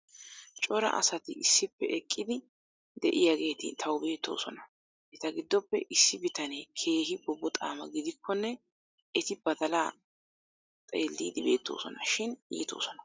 Cora asati issippe eqqidi diyaageeti tawu beettoosona. Eta gidoppe issi bitanee keehi bobboxaama gidikkonne eti badalaa xeeliidi beettoosona. Shin iitoosona.